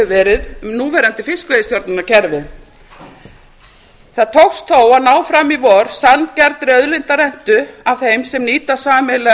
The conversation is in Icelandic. verið um núverandi fiskveiðistjórnarkerfi það tókst þó að ná fram í vor sanngjarnri auðlindarentu af þeim sem nýta sameiginlega